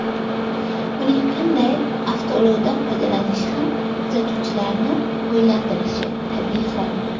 Uning qanday avtoulovdan foydalanishi ham kuzatuvchilarni o‘ylantirishi tabiiy hol.